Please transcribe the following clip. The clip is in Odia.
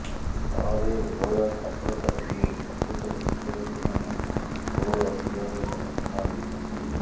ଫଳରେ ଉଭୟ ଛାତ୍ରଛାତ୍ରୀ ଓ ଶିକ୍ଷକ ଶିକ୍ଷୟିତ୍ରୀମାନେ ଘୋର ଅସୁବିଧାର ସମ୍ମୁଖୀନ ହେଉଛନ୍ତି